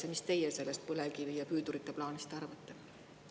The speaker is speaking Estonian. Ja mis teie sellest põlevkivi ja püüdurite plaanist arvate?